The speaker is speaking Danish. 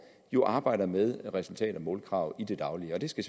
jo arbejder med resultat og målkrav i det daglige og det skal